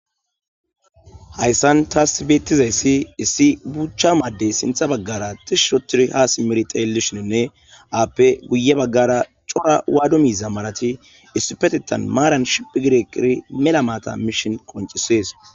hayssan taas beettizayssi issi buuchcha maaddey sintha baggara tishirotir haasi merxeelishininne aappe guye baggara cora waado miiza malati issi petetan maaran shiphi gireqiri mela maata mishin qoncisees